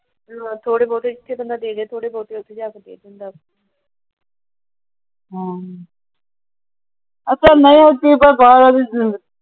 ਥੋੜੇ ਬਹੁਤੇ